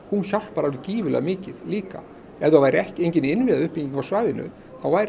hjálpar gífurlega mikið líka ef það væri engin innviðauppbygging á svæðinu þá væri